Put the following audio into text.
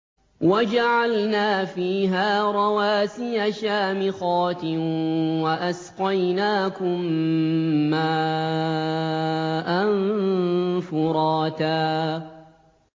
وَجَعَلْنَا فِيهَا رَوَاسِيَ شَامِخَاتٍ وَأَسْقَيْنَاكُم مَّاءً فُرَاتًا